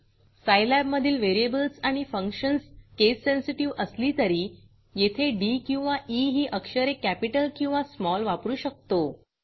scilabसाईलॅब मधील व्हेरिएबल्स आणि functions case sensitive case sensitive असली तरी येथे डी किंवा ई ही अक्षरे capitalकॅपिटल किंवा smallस्माल वापरू शकतो